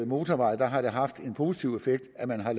motorvejene har det haft en positiv effekt at man har